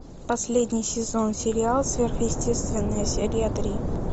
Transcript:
последний сезон сериал сверхъестественное серия три